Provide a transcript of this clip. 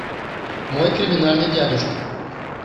мой криминальный дядюшка